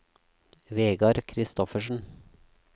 Vegar Christoffersen